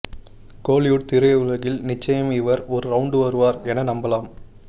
கோலிவுட் திரையுலகில் நிச்சயம் இவர் ஒரு ரவுண்டு வருவார் என நம்பலம்